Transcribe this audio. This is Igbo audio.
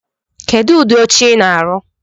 Kedu udi oche I na-arụ̣?